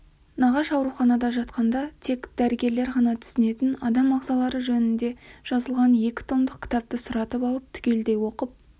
нағаш ауруханада жатқанда тек дәрігерлер ғана түсінетін адам ағзалары жөнінде жазылған екі томдық кітапты сұратып алып түгелдей оқып